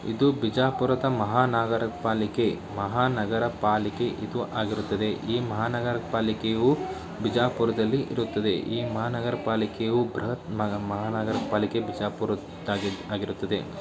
ಇದು ಬಿಜಾಪುರದ ಮಹಾನಗರ ಪಾಲಿಕೆ ಮಹಾನಗರ ಪಾಲಿಕೆ ಇದು ಆಗಿರುತ್ತದೆ. ಈ ಮಹಾನಗರ ಪಾಲಿಕೆಯು ಬಿಜಾಪುರದಲ್ಲಿ ಇರುತ್ತದೆ. ಈ ಮಹಾನಗರ ಪಾಲಿಕೆಯು ಬೃಹತ್ ಮಹಾನಗರ ಪಾಲಿಕೆ ಬಿಜಾಪುರದಾಗಿರುತ್ತದೆ.